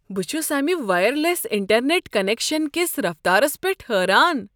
بہٕ چھس امہ وائرلیس انٹرنیٹ کنیکشس کس رفتارسپیٹھ حیران ۔